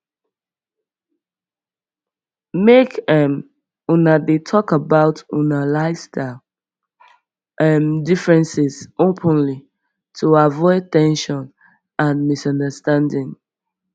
make um una dey talk about una lifestyle um differences openly to avoid ten sion and misunderstanding